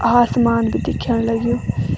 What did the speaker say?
आसमान भी दिख्याण लग्युं।